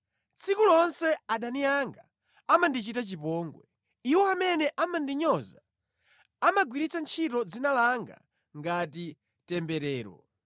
Tsiku lonse adani anga amandichita chipongwe; iwo amene amandinyoza, amagwiritsa ntchito dzina langa ngati temberero.